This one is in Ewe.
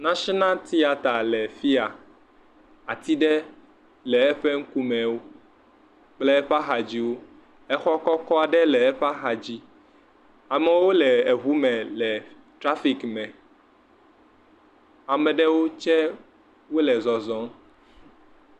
National Theatre le fiya. Ati ɖe le eƒe ŋkume kple eƒe axa dziwo. Exɔ kɔkɔ aɖe le eƒe axa dzi. Amewo le eŋu me, trafic me. Ame ɖewo tse wole zɔzɔm.